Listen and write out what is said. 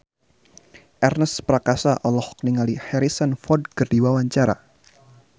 Ernest Prakasa olohok ningali Harrison Ford keur diwawancara